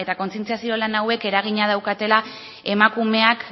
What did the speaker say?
kontzientziazio lan hauek eraginak daukatela emakumeak